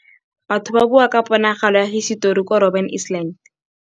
Batho ba bua ka ponagalô ya hisetori kwa Robin Island.